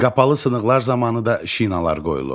Qapalı sınıqlar zamanı da şinalar qoyulur.